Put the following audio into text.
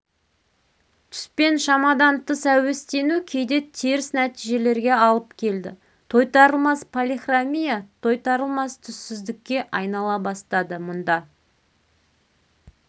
түспен шамадан тыс әуестену кейде теріс нәтижелерге алып келді тойтарылмас полихромия тойтарылмас түссіздікке айнала бастады мұнда